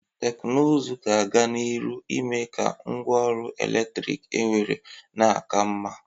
Teknụzụ ga-aga n'iru ime ka ngwa ọrụ eletrik enwere na-aka mma.